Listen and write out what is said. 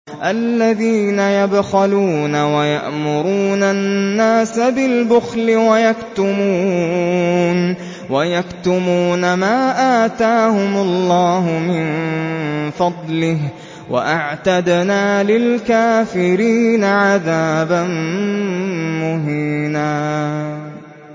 الَّذِينَ يَبْخَلُونَ وَيَأْمُرُونَ النَّاسَ بِالْبُخْلِ وَيَكْتُمُونَ مَا آتَاهُمُ اللَّهُ مِن فَضْلِهِ ۗ وَأَعْتَدْنَا لِلْكَافِرِينَ عَذَابًا مُّهِينًا